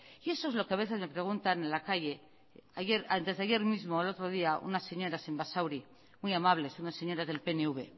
y eso es lo que a veces me preguntan en la calle antes de ayer mismo el otro día unas señora en basauri muy amables unas señoras del pnv